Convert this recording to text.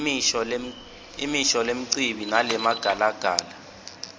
imisho lembici nalemagalagala